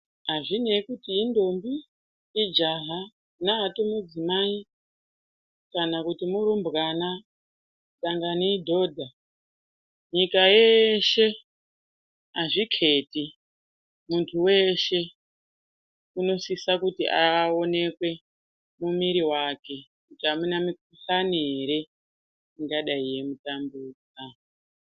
Hazvinei kiti indombi, ijaha neatoo mudzimai, kana kuti murumbwana dangani idhodha, nyika yeshe hazviketi, muntu weshe anosisa kuti aonekwe kuti hamuna mikuhlani ere ingadai yeimutambudza.